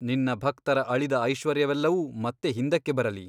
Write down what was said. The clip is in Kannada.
ನಿನ್ನ ಭಕ್ತರ ಅಳಿದ ಐಶ್ವರ್ಯವೆಲ್ಲವೂ ಮತ್ತೆ ಹಿಂದಕ್ಕೆ ಬರಲಿ.